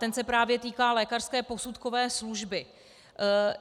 Ten se právě týká lékařské posudkové služby.